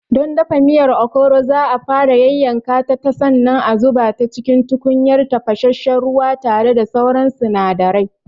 Don dafa miyar Okro za'a fara yayyanka ta sannan a zuba cikin tukunyar tafasasshen ruwa tare da sauran sinadarai.